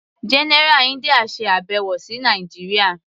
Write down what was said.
General India ṣe àbẹ̀wò sí Nàìjíría.